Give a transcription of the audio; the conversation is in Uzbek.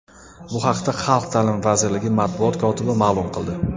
Bu haqda Xalq ta’limi vazirligi matbuot kotibi ma’lum qildi .